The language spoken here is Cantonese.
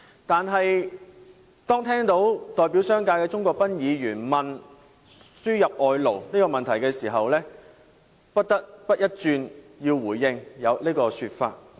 但是，當我聽到代表商界的鍾國斌議員問到輸入外勞的問題時，我不得不回應這個說法。